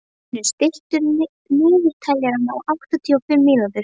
Hlynur, stilltu niðurteljara á áttatíu og fimm mínútur.